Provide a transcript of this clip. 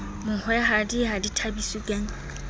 mohwehadi ha di thabiswe ke